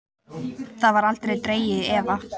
Það var aldrei dregið í efa.